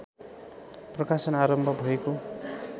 प्रकाशन आरम्भ भएको